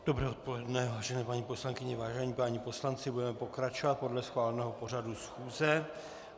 Dobré odpoledne, vážené paní poslankyně, vážení páni poslanci, budeme pokračovat podle schváleného pořadu schůze.